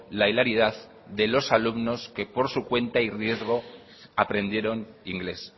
la hilaridad de los alumnos que por su cuenta y riesgo aprendieron inglés